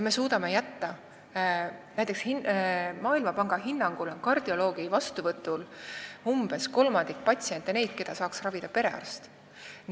Maailmapanga hinnangul on näiteks kardioloogi vastuvõtul umbes kolmandik selliseid patsiente, keda saaks ravida perearst.